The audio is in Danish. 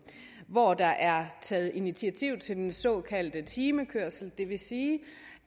hvor der er taget initiativ til den såkaldte timekørsel og det vil sige